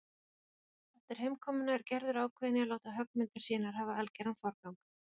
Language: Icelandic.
Eftir heimkomuna er Gerður ákveðin í að láta höggmyndir sínar hafa algeran forgang.